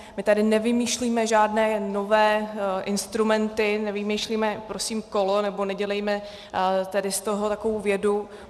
My tady nevymýšlíme žádné nové instrumenty, nevymýšlíme prosím kolo, nebo nedělejme tady z toho takovou vědu.